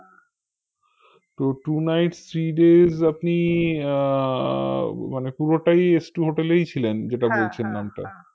তো two nights three days আপনি আহ মানে পুরোটাই এস্ট্ররু hotel এই ছিলেন যেটা বলছেন নামটা